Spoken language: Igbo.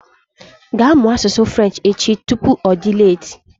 Ga mụọ asụsụ Frenchi echi! Tupu ọ dị leeti